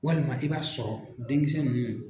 Walima i b'a sɔrɔ denkisɛ ninnu.